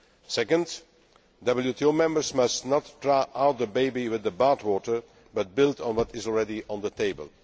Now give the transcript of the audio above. second, WTO members must not throw out the baby with the bathwater, but build on what is already on the table